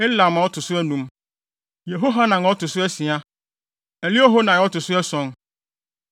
Elam a ɔto so anum, Yehohanan a ɔto so asia, Eliehoenai a ɔto so ason.